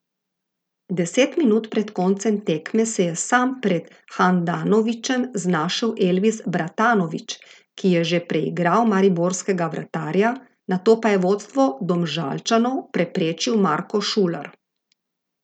Deset minut pred koncem tekme se je sam pred Handanovićem znašel Elvis Bratanović, ki je že preigral mariborskega vratarja, nato pa je vodstvo Domžalčanov preprečil Marko Šuler.